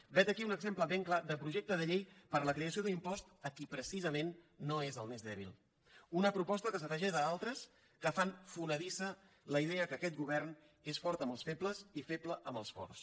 vet aquí un exemple ben clar de projecte de llei per a la creació d’un impost per a qui precisament no és el més dèbil una proposta que s’afegeix a altres que fan fonedissa la idea que aquest govern és fort amb els febles i feble amb els forts